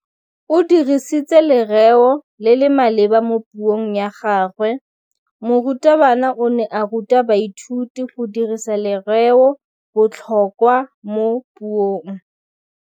O dirisitse lerêo le le maleba mo puông ya gagwe. Morutabana o ne a ruta baithuti go dirisa lêrêôbotlhôkwa mo puong.